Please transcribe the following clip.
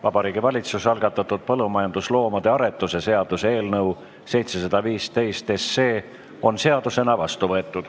Vabariigi Valitsuse algatatud põllumajandusloomade aretuse seaduse eelnõu 715 on seadusena vastu võetud.